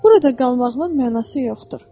Burada qalmağımın mənası yoxdur.